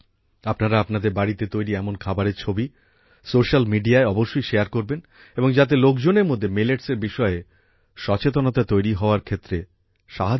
আপনারা আপনাদের বাড়িতে তৈরি এমন খাবারের ছবি সোশ্যাল মিডিয়ায় অবশ্যই শেয়ার করবেন যাতে লোকজনের মধ্যে মিলেটস এর বিষয়ে সচেতনতা তৈরি হওয়ার ক্ষেত্রে সাহায্য হয়